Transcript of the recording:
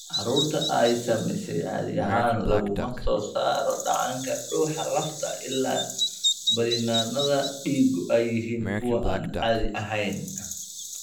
Carruurta ay saamaysay caadi ahaan laguma soo saaro dheecaanka dhuuxa lafta ilaa baadhitaanada dhiigu ay yihiin kuwo aan caadi ahayn.